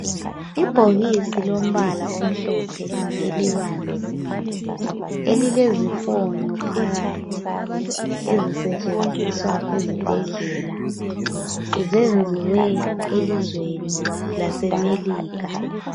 Ibhokisi lombala omhlophe elibanzi elilezifonyo phakathi ezisetshenziswa ezibhedlela zenziwe elizweni lasemelika.